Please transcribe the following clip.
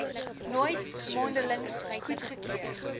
nooit mondelings goedgekeur